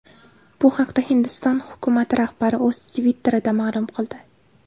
Bu haqda Hindiston hukumati rahbari o‘z Twitter’ida ma’lum qildi .